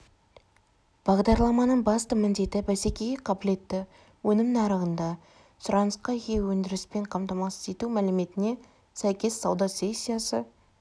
бағдарламаның басты міндеті бәсекеге қабілетті өнім нарығында сұранысқа ие өндіріспен қамтамасыз ету мәліметіне сәйкес сауда сессиясы